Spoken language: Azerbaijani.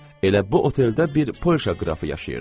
Elə bu oteldə bir Polşa qrafı yaşayırdı.